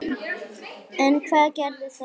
En hvað gerir það til